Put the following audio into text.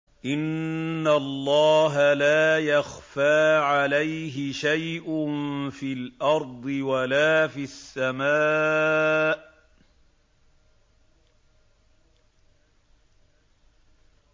إِنَّ اللَّهَ لَا يَخْفَىٰ عَلَيْهِ شَيْءٌ فِي الْأَرْضِ وَلَا فِي السَّمَاءِ